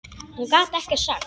Hún gat ekkert sagt.